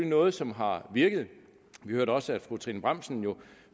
noget som har virket vi hørte også at fru trine bramsen